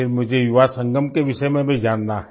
फिर मुझे युवा संगम के विषय में भी जानना है